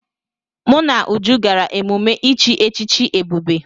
Mụ na Uju gara emume ichi echichi Ebube.